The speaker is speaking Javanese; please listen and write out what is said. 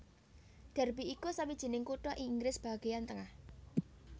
Derby iku sawijining kutha ing Inggris bagéan tengah